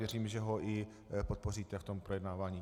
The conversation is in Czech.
Věřím, že ho i podpoříte v tom projednávání.